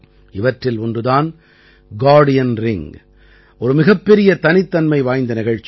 இவற்றில் ஒன்று தான் கார்டியன் ரிங் ஒரு மிகப்பெரிய தனித்தன்மை வாய்ந்த நிகழ்ச்சி